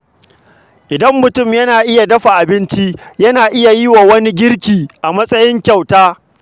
Idan mutum yana iya dafa abinci, yana iya yi wa wani girki a matsayin kyauta.